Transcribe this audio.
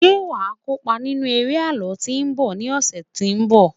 ṣe wa kópa nínú eré àlọ tí nbọ ni ọsẹ tínbọ̀